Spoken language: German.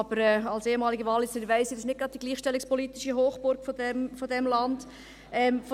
Aber als ehemalige Walliserin weiss ich, dass es nicht gerade die gleichstellungspolitische Hochburg unseres Landes ist.